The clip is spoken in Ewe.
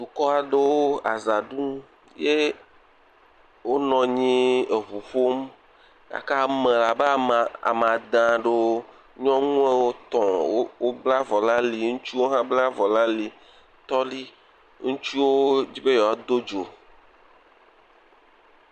Bokɔ aɖewo aza ɖum eye wonɔ anyi eŋu ƒom gake abe ame abe ame ade. Nyɔnuwo woame etɔ̃ wobla avɔ ɖe ali. Ŋutsuwo hã wobla avɔ ɖe ali. Ŋutsuwo hã wo dzi be yewoado dzo.